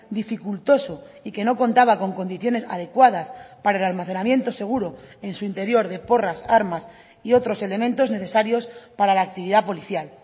dificultoso y que no contaba con condiciones adecuadas para el almacenamiento seguro en su interior de porras armas y otros elementos necesarios para la actividad policial